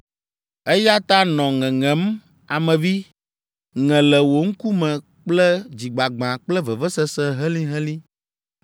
“Eya ta, nɔ ŋeŋem, Ame vi, ŋe le wo ŋkume kple dzigbagbã kple vevesese helĩhelĩ.